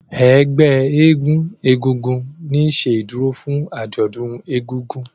Ègbé éégun egúngún ní ṣe ìdúró fún ajọdún ègùngùn.